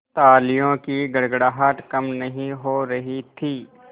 तालियों की गड़गड़ाहट कम नहीं हो रही थी